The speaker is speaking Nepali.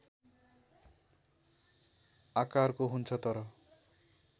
आकारको हुन्छ तर